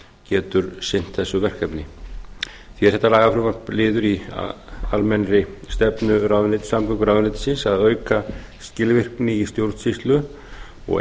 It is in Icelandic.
getur sinnt þessu verkefni hér er þetta lagafrumvarp liður í almennri stefnu samgönguráðuneytisins að auka skilvirkni í stjórnsýslu og